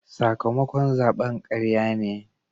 Sakamakon zaben karya ne.